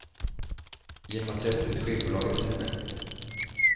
Genom att döpa sitt skivbolag efter henne.